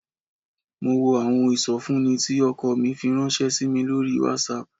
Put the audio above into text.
Mo wo àwọn ìsọfúnni tí ọkọ mi fi ránṣẹ́ sí mi lórí WhatsApp